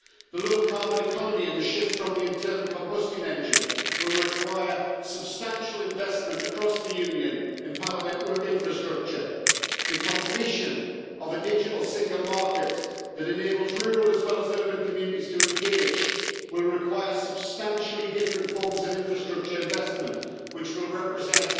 The low carbon economy and the shift from the internal combustion engine will require substantial investment across the Union in power network infrastructure. The completion of a digital single market that enables rural as well as urban communities to engage will require substantially different forms of infrastructure investment, which will represent